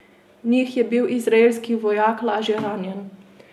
V njih je bil izraelski vojak lažje ranjen.